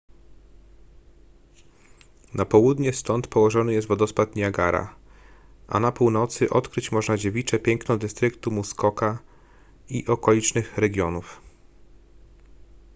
na południe stąd położony jest wodospad niagara a na północy odkryć można dziewicze piękno dystryktu muskoka i okolicznych regionów